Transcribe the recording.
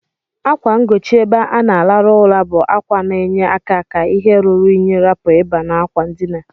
Akwa ngochi ebe ana alarụ ụra bu akwa na enye aka ka ihe ruru inyi rapu iba na akwa ndina.